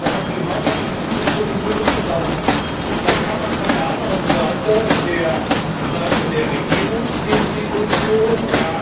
Das heißt, die Gemeinschaftsinstitutionen rücken zusammen. Das kann man von der anderen Seite der Seite der Regierungsinstitutionen, d.